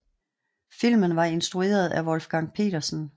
Filmen var instrueret af Wolfgang Petersen